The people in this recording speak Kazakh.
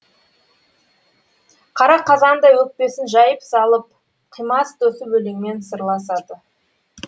қара қазандай өкпесін жайып салып қимас досы өлеңмен сырласады